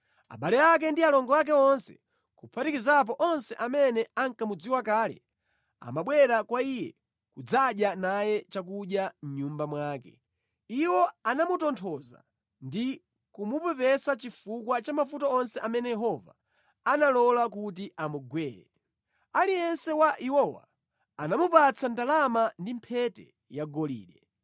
Abale ake ndi alongo ake onse, kuphatikizapo onse amene ankamudziwa kale, amabwera kwa iye nʼkudzadya naye chakudya mʼnyumba mwake. Iwo anamutonthoza ndi kumupepesa chifukwa cha mavuto onse amene Yehova analola kuti amugwere. Aliyense wa iwowa anamupatsa ndalama ndi mphete yagolide.